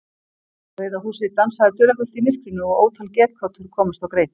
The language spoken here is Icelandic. Rauða húsið dansaði dularfullt í myrkrinu og ótal getgátur komust á kreik.